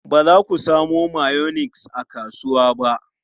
Ba za ku samo mayonnaise a kasuwa ba?